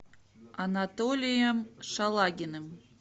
анатолием шалагиным